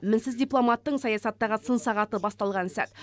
мінсіз дипломаттың саясаттағы сын сағаты басталған сәт